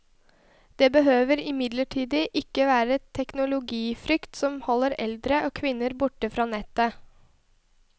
Det behøver imidlertid ikke være teknologifrykt som holder eldre og kvinner borte fra nettet.